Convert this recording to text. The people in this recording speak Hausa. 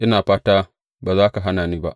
Ina fata ba za ka hana ni ba.